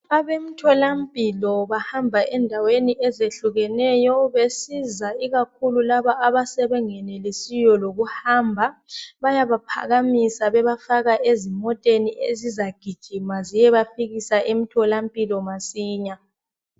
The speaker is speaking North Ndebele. Abemtholampilo bahamba endaweni ezehlukeneyo benceda ikakhulu laba abangenelisiyo lokuhamba bayaba phakamisa bebafaka ezimoteni ezizagijima ziyebafikisa emtholampilo masinya.